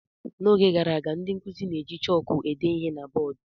N'oge gara aga, ndị nkuzi na-eji chọọkụ ede ihe na bọọdụ.